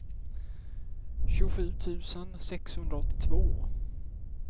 tjugosju tusen sexhundraåttiotvå